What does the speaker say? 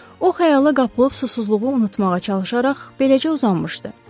O xəyala qapılıb susuzluğu unutmağa çalışaraq beləcə uzanmışdı.